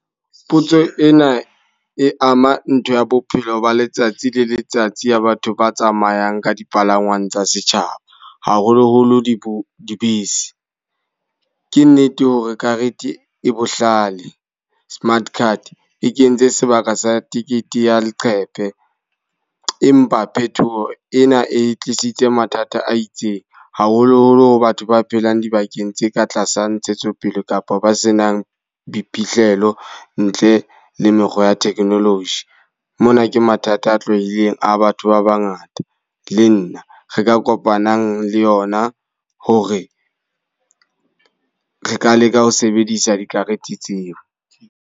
Potso ena e ama ntho ya bophelo ba letsatsi le letsatsi ya batho ba tsamayang ka dipalangwang tsa setjhaba. Haholo-holo di dibese. Ke nnete hore karete e bohlale. Smart card, e kentse sebaka sa ticket ya leqephe. Empa phethoho ena e tlisitse mathata a itseng. Haholo-holo ho batho ba phelang dibakeng tse ka tlasa ntshetsopele kapa ba se nang boiphihlelo ntle le mekgwa ya technology. Mona ke mathata a tlwaehileng a batho ba ba ngata, le nna. Re ka kopanang le yona hore re ka leka ho sebedisa dikarete tseo.